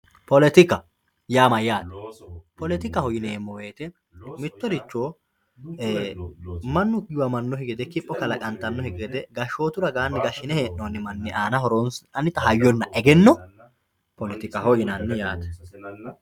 poletika yaa mayaate poletikaho yineemo woyiite mittoricho mannu giwamanokki gede kipho kalaqantannokki gede gashshootu ragaani gashshine hee'nooni manni anaanni horonsi'nannita hayyona egenno poletikaho yinanni yaate.